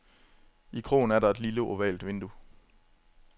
I krogen er der et lille ovalt vindue.